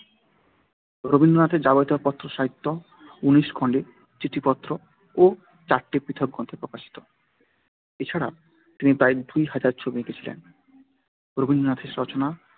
রবীন্দ্রনাথের যাবতীয় পত্রসাহিত্য উনিশ খণ্ডে চিঠিপত্র ও চারটি পৃথক গ্রন্থে প্রকাশিত। এছাড়া তিনি প্রায় দুই হাজার ছবি এঁকেছিলেন। রবীন্দ্রনাথের রচনা